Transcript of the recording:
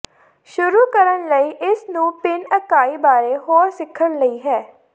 ਸ਼ੁਰੂ ਕਰਨ ਲਈ ਇਸ ਨੂੰ ਭਿਨ ਇਕਾਈ ਬਾਰੇ ਹੋਰ ਸਿੱਖਣ ਲਈ ਹੈ